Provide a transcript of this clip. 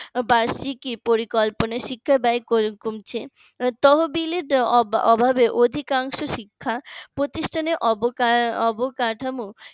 বার্ষিকী পরিকল্পনা শিক্ষা ব্যয় কমছে তহবিলের অভাবে অধিকাংশ শিক্ষা প্রতিষ্ঠানের অব অবকাঠামো